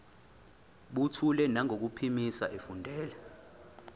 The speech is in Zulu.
buthule nangokuphimisa efundela